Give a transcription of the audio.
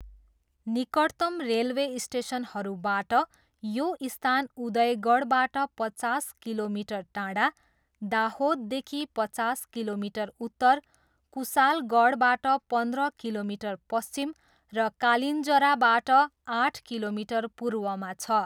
निकटतम रेलवे स्टेसनहरूबाट यो स्थान उदयगढबाट पचास किलोमिटर टाढा, दाहोददेखि पचास किलोमिटर उत्तर, कुसालगढबाट पन्ध्र किलोमिटर पश्चिम र कालिन्जराबाट आठ किलोमिटर पूर्वमा छ।